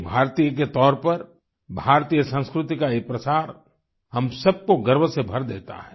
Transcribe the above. एक भारतीय के तौर पर भारतीय संस्कृति का यह प्रसार हम सब को गर्व से भर देता है